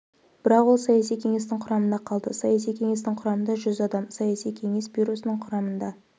бірақ ол саяси кеңестің құрамында қалды саяси кеңестің құрамында жүз адам саяси кеңес бюросының құрамында